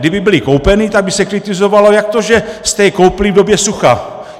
Kdyby byly koupeny, tak by se kritizovalo, jak to, že jste je koupili v době sucha!